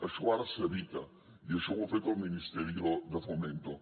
això ara s’evita i això ho ha fet el ministerio de fomento